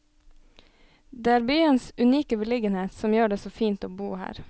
Det er byens unike beliggenhet som gjør det så fint å bo her.